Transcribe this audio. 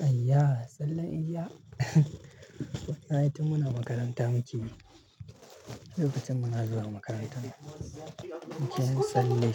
Aya, sallan eja. Na yi tun muna makaranta muke yi. Lokacin muna zuwa makaranta muke yin tsalle.